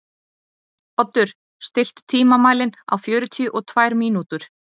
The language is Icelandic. Oddur, stilltu tímamælinn á fjörutíu og tvær mínútur.